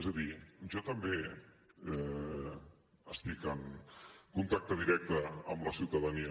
és a dir jo també estic en contacte directe amb la ciutadania